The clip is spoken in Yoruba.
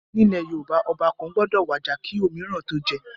Nílẹ̀ Yorùbá, Ọba kàn gbọ́dọ̀ wàjà kí òmííràn tó jẹ́